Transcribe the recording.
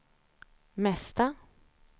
mesta